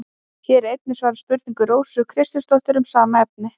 Hér er einnig svarað spurningu Rósu Kristjánsdóttur um sama efni.